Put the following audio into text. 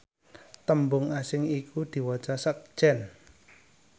tembung asing iku diwaca sekjen